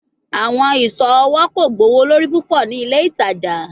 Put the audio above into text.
Awọn iṣọ ọwọ ko gbowolori pupọ ni ile itaja